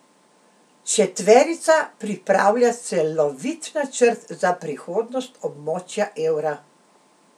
Četverica pripravlja celovit načrt za prihodnost območja evra.